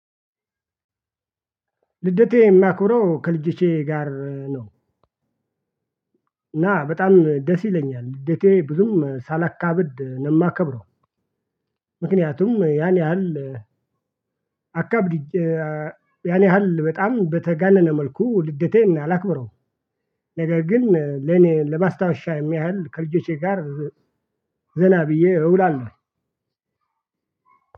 ልደቴ የማከብረው ከልጆቼ ጋር ነው። እና በጣም ደስ ይለኛል ልደቴ ብዙም ሳላካብድ ነው የማከብረው። ምክንያቱም ያን ያህል አካብድጄ ያን ያህል በጣም በተጋነነ መልኩ ልደቴን አላክብረውም። ነገር ግን ለኔ ለማስታወሻ የሚያህል ከልጆቼ ጋር ዘና ብዬ እውላለሁ።